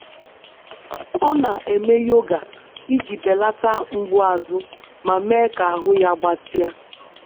Ọ na-eme yoga iji belata mgbu azụ ma mee ka ahụ ya gbatịa.